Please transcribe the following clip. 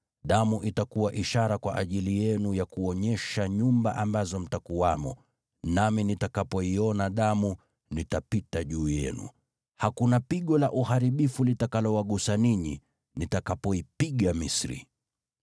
Damu itakuwa ishara kwa ajili yenu ya kuonyesha nyumba ambazo mtakuwamo; nami nitakapoiona damu, nitapita juu yenu. Hakuna pigo la uharibifu litakalowagusa ninyi nitakapoipiga Misri.